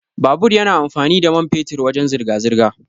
Babur yana amfani da mai fetur wajan zirga-zirga.